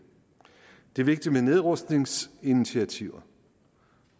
det er vigtigt med nedrustningsinitiativer